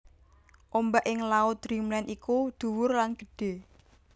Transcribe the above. Ombak ing laut Dreamland iku dhuwur lan gedhe